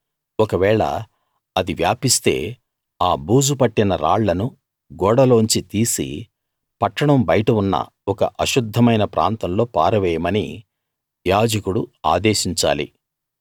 ఒకవేళ అది వ్యాపిస్తే ఆ బూజు పట్టిన రాళ్ళను గోడలోంచి తీసి పట్టణం బయట ఉన్న ఒక అశుద్ధమైన ప్రాంతంలో పారవేయమని యాజకుడు ఆదేశించాలి